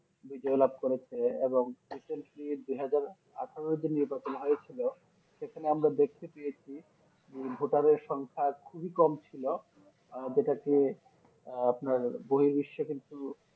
বিজয় লাভ করেছে এবং Recently দুই হাজার আঠোরোতে যে নির্বাচন হয়েছিল সেখানে আমরা দেখতে পেয়েছি ভোটারের সংখ্যা খুবই কম ছিল আহ যেটাতে আপনার গরিব্বিস কিন্তু